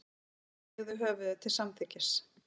Marteinn hneigði höfðið til samþykkis.